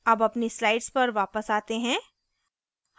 अब अपनी slide पर वापस आते हैं